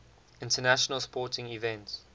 international sporting events